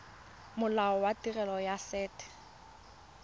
molao wa tirelo ya set